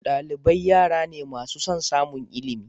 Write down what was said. Dalibai yara ne masu son samun ilimi.